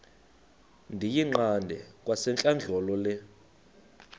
ndiyiqande kwasentlandlolo le